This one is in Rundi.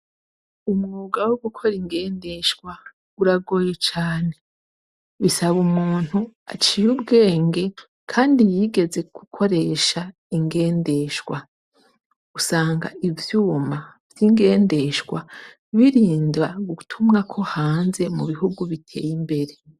Umwuga wo gukora ingendeshwa uragoye cane. Bisaba umuntu aciye ubwenge kandi yigeze gukoresha ingendeshwa. Usanga ivyuma vy'ingendeshwa birinda gutumwako hanze mu bihugu biteye imbere.